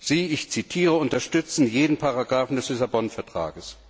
Sie ich zitiere unterstützen jeden Paragraphen des Lissabon Vertrags.